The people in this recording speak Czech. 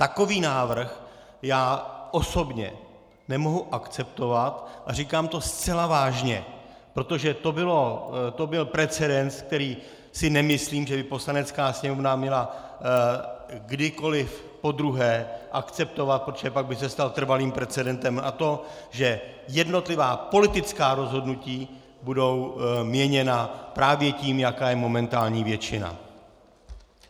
Takový návrh já osobně nemohu akceptovat a říkám to zcela vážně, protože to byl precedens, který si nemyslím, že by Poslanecká sněmovna měla kdykoli podruhé akceptovat, protože pak by se stal trvalým precedentem, a to že jednotlivá politická rozhodnutí budou měněna právě tím, jaká je momentální většina.